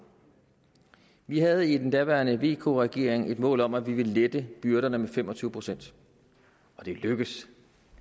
vi havde i den daværende vk regering et mål om at vi ville lette byrderne med fem og tyve procent og det lykkedes